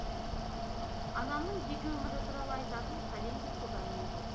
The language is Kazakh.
анамның жеке өмірі туралы айтатын пәлендей көп әңгіме жоқ